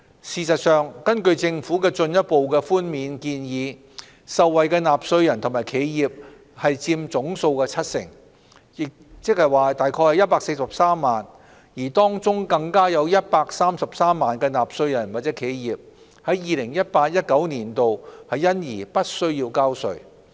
事實上，根據政府的進一步寬免建議，受惠的納稅人和企業佔總數七成，即約143萬，當中更有133萬納稅人或企業在 2018-2019 課稅年度因而不需交稅。